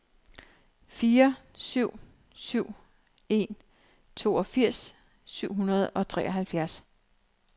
fire syv syv en toogfirs syv hundrede og treoghalvfjerds